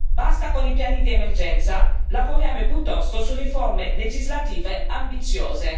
Basta con i piani di emergenza, lavoriamo piuttosto su riforme legislative ambiziose.